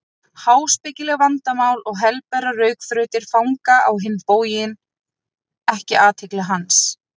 Háspekileg vandamál og helberar rökþrautir fanga á hinn bóginn ekki athygli hans.